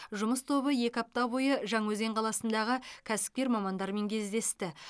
жұмыс тобы екі апта бойы жаңаөзен қаласындағы кәсіпкер мамандармен кездесті